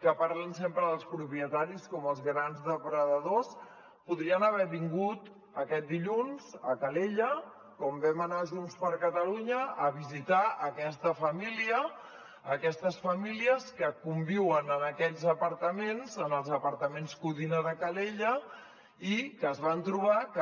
que parlen sempre dels propietaris com els grans depredadors podrien haver vingut aquest dilluns a calella com hi vam anar junts per catalunya a visitar aquesta família aquestes famílies que conviuen en aquests apartaments en els apartaments codina de calella i que es van trobar que